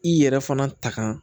I yɛrɛ fana ta